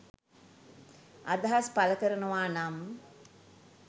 අදහස් පලකරනවානම්